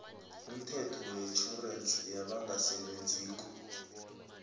umthetho wetjhorensi yabangasebenziko